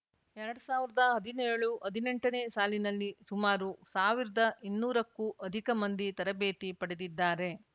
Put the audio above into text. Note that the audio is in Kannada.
ಎರಡ್ ಸಾವಿರ್ದ ಹದಿನೇಳು ಹದಿನೆಂಟನೇ ಸಾಲಿನಲ್ಲಿ ಸುಮಾರು ಸಾವಿರ್ದ ಇನ್ನೂರ ಕ್ಕೂ ಅಧಿಕ ಮಂದಿ ತರಬೇತಿ ಪಡೆದಿದ್ದಾರೆ